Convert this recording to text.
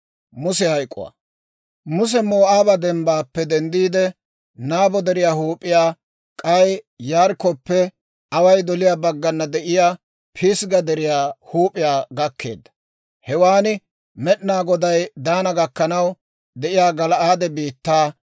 Muse Moo'aaba dembbaappe denddiide, Nabo Deriyaa huup'iyaa, k'ay Yarikkoppe away doliyaa baggana de'iyaa Pisgga Deriyaa huup'iyaa gakkeedda. Hewaan Med'inaa Goday Daana gakkanaw de'iyaa Gala'aade biittaa,